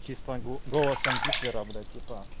голосом гитлера блять